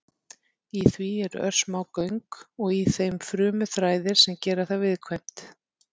Í því eru örsmá göng og í þeim frumuþræðir sem gera það viðkvæmt.